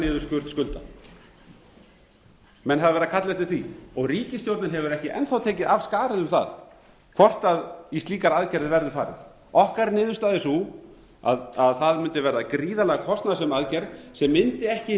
niðurskurð skulda menn hafa verið að kalla eftir því ríkisstjórnin hefur ekki enn þá tekið af skarið um það hvort í slíkar aðgerðir verður farið okkar niðurstaða er sú að það mundi verða gríðarlega kostnaðarsöm aðgerð sem mundi ekki